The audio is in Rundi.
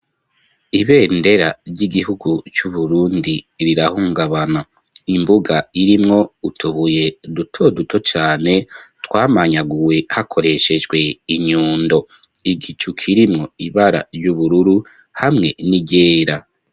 Ibendera, ry'igihugu c'Uburundi, rirahungabana; imbuga, irimwo utubuye, duto duto cane, twamanyaguwe, hakoreshejwe inyundo; igicu, kirimwo ibara ry'ubururu, hamwe n'iryera.